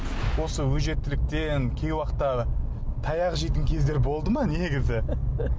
осы өжеттіліктен кей уақытта таяқ жейтін кездер болды ма негізі